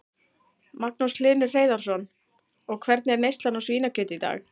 Magnús Hlynur Hreiðarsson: Og hvernig er neyslan á svínakjöti í dag?